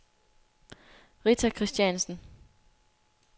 Rita Kristiansen